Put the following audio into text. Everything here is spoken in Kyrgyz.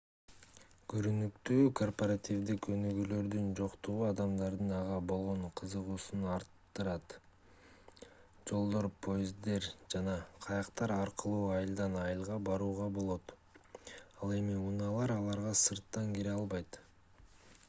көрүнүктүүү корпоративдик өнүгүүлөрдүн жоктугу адамдардын ага болгон кызыгуусун арттырат жолдор поезддер жана кайыктар аркылуу айылдан айылга барууга болот ал эми унаалар аларга сырттан кире албайт